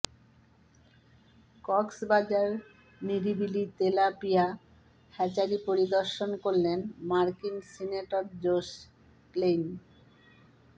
কক্সবাজার নিরিবিলি tilapia hatchery পরিদর্শন করলেন মার্কিন সিনেটর জোস ক্লেইন